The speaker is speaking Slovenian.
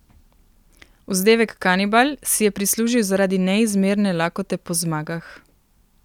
Vzdevek Kanibal si je prislužil zaradi neizmerne lakote po zmagah.